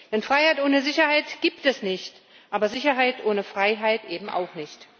Denn Freiheit ohne Sicherheit gibt es nicht, aber Sicherheit ohne Freiheit eben auch nicht.